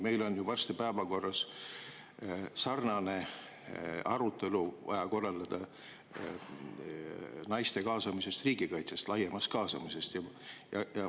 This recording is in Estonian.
Meil on varsti vaja päevakorda sarnane arutelu naiste kaasamisest, laiemast kaasamisest riigikaitsesse.